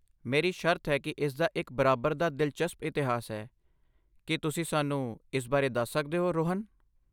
ਮੇਰੀ ਸ਼ਰਤ ਹੈ ਕਿ ਇਸਦਾ ਇੱਕ ਬਰਾਬਰ ਦਾ ਦਿਲਚਸਪ ਇਤਿਹਾਸ ਹੈ, ਕੀ ਤੁਸੀਂ ਸਾਨੂੰ ਇਸ ਬਾਰੇ ਦੱਸ ਸਕਦੇ ਹੋ, ਰੋਹਨ?